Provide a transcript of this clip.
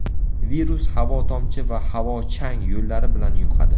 Virus havo-tomchi va havo-chang yo‘llari bilan yuqadi.